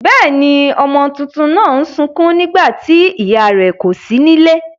Bẹ́ěni, ọmọ tuntun náà ń sukún nígbà tí ìyá rẹ̀ kò sí nílé.